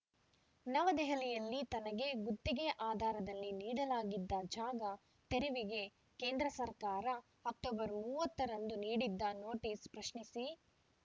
ನವದೆಹಲಿಯಲ್ಲಿ ತನಗೆ ಗುತ್ತಿಗೆ ಆಧಾರದಲ್ಲಿ ನೀಡಲಾಗಿದ್ದ ಜಾಗ ತೆರವಿಗೆ ಕೇಂದ್ರ ಸರ್ಕಾರ ಅಕ್ಟೋಬರ್ ಮೂವತ್ತರಂದು ನೀಡಿದ್ದ ನೋಟಿಸ್‌ ಪ್ರಶ್ನಿಸಿ